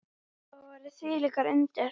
Þetta voru þvílík undur.